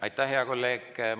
Aitäh, hea kolleeg!